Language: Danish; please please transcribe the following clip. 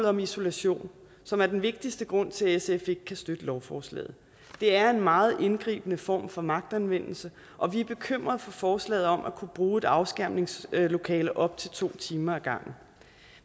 om isolation som er den vigtigste grund til at sf ikke kan støtte lovforslaget det er en meget indgribende form for magtanvendelse og vi er bekymrede over forslaget om at kunne bruge et afskærmningslokale i op til to timer ad gangen